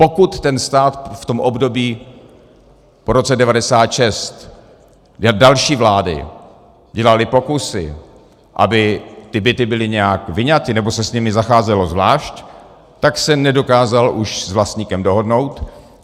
Pokud ten stát v tom období po roce 1996, jak další vlády dělaly pokusy, aby ty byty byly nějak vyňaty nebo se s nimi zacházelo zvlášť, tak se nedokázal už s vlastníkem dohodnout.